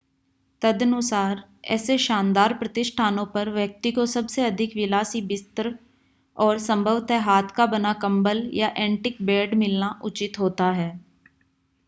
तदनुसार ऐसे शानदार प्रतिष्ठानों पर व्यक्ति को सबसे अधिक विलासी बिस्तर और संभवतः हाथ का बना कंबल या ऐंटीक बेड मिलना उचित होता है